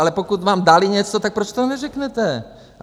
Ale pokud vám něco dali, tak proč to neřeknete?